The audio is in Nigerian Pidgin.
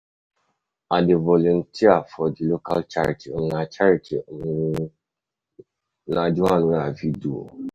I dey volunteer for di local charity, um na charity, um na di um one wey i fit do.